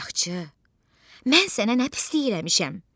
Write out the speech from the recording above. Ay axçı, mən sənə nə pislik eləmişəm?